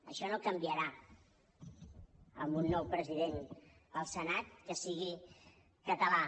això no canviarà amb un nou president del senat que sigui català